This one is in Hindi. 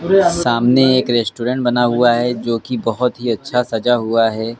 सामने एक रेस्टोरेंट बना हुआ है जो कि बहुत ही अच्छा सजा हुआ है।